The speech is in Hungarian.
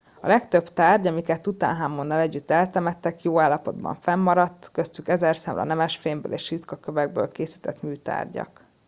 a legtöbb tárgy amiket tutanhamonnal együtt eltemettek jó állapotban fennmaradt köztük ezerszámra nemesfémből és ritka kövekből készített műtárgyak